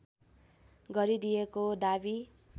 गरिदिएको दाबी